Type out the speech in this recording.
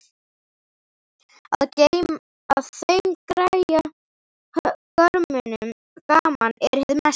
Að þeim greyja-görmunum gaman er hið mesta.